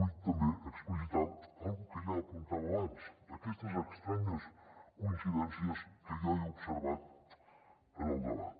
vull també explicitar una cosa que ja apuntava abans aquestes estranyes coincidències que jo he observat en el debat